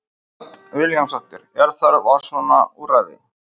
Hödd Vilhjálmsdóttir: Er þörf á svona úrræði?